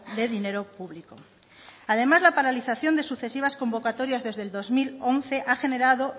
de dinero público además la paralización de sucesivas convocatorias desde el dos mil once ha generado